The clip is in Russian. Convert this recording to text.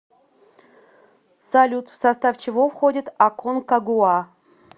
салют в состав чего входит аконкагуа